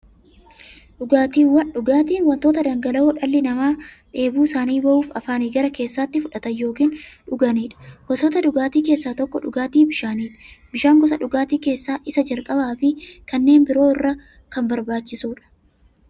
Dhugaatiin wanta dhangala'oo dhalli namaa dheebuu isaanii ba'uuf, afaaniin gara keessaatti fudhatan yookiin dhuganiidha. Gosoota dhugaatii keessaa tokko dhugaatii bishaaniti. Bishaan gosa dhugaatii keessaa isa jalqabaafi kanneen biroo irra kan barbaachisuudha.